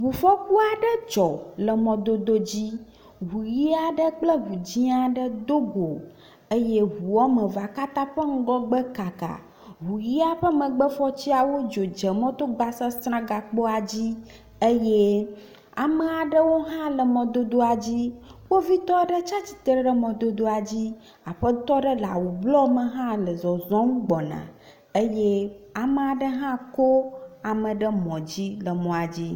Ŋufɔku aɖe dzɔ le mɔdodo aɖe dzi, ŋu ʋɛ̃ aɖe kple ŋu dzɛ̃ aɖe do go eye ŋu woame evea katã ƒe ŋgɔgbe kaka. Ŋu ʋɛ̃a ƒe megbe fɔtiawo dzo dze mɔto gbasasra gakpoa dzi eye ame aɖewo hã le mɔdodoa dzi. Kpovitɔ aɖe tsatsitre ɖe mɔdodoa dzi, aƒetɔ ɖe le awu blɔ me hã le zɔzɔm gbɔna eye ame aɖe hã kɔ ame ɖe mɔ dzi le mɔa dzi.